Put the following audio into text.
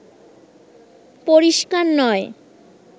পরিস্কার নয়